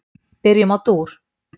Byrjum á dúr.